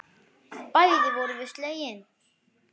Bæði vorum við slegin.